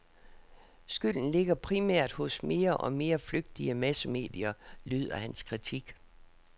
Skylden ligger primært hos mere og mere flygtige massemedier, lyder hans kritik.